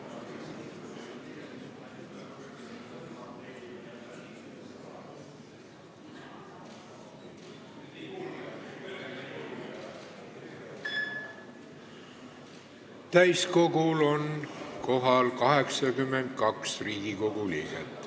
Kohaloleku kontroll Täiskogul on kohal 82 Riigikogu liiget.